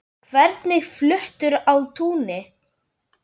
Hvernig fluttur á túnin?